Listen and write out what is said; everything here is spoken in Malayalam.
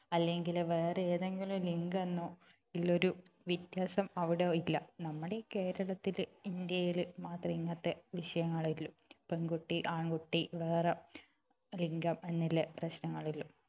അല്ലെങ്കിൽ വേറെയേതെങ്കിലും ലിംഗമെന്നോ ഇല്ലൊരു വ്യത്യാസം അവിടെ ഇല്ല നമ്മുടെ ഈ കേരളത്തിൽ ഇന്ത്യയിൽ മാത്രമേ ഇങ്ങനത്തെ വിഷയങ്ങൾ ഉള്ളൂ പെൺകുട്ടി ആൺകുട്ടി വേറെ ലിംഗം എന്നുള്ള പ്രശ്നങ്ങൾ ഉള്ളൂ